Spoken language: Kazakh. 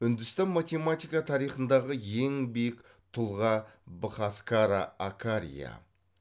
үндістан математика тарихындағы ең биік тұлға быхаскара акария